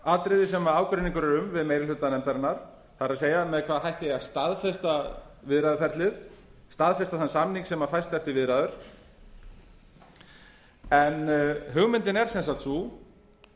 atriði sem ágreiningur er um við meiri hluta nefndarinnar það er með hvaða hætti eigi að staðfesta viðræðuferlið staðfesta þann samning sem fæst eftir viðræður en hugmyndin er sem sagt sú